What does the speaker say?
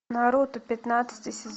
наруто пятнадцатый сезон